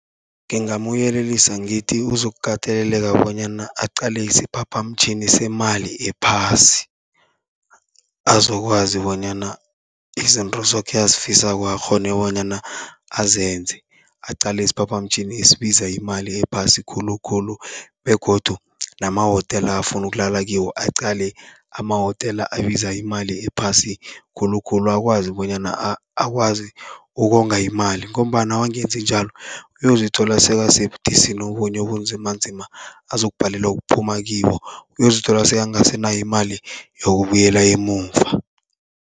Ngingamyelelisa ngithi uzokukateleleka bonyana aqale isiphaphamtjhini semali ephasi, azokwazi bonyana izinto zoke azifisako akghone bonyana azenze. Aqale isiphaphamtjhini esibiza imali ephasi khulukhulu begodu namahotela afuna ukulala kiwo aqale amahotela abiza imali ephasi khulukhulu. Akwazi bonyana akwazi ukonga imali, ngombana wangenzi njalo uyozithola sekasebudisini obunye obunzimanzima, azokubhalelwa kuphuma kibo uyozithola sekangasenayo imali yokubuyela emuva.